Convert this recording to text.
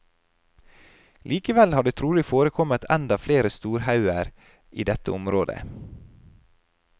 Likevel har det trolig forekommet enda flere storhauger i dette området.